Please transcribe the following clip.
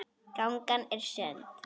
Gangan er sund.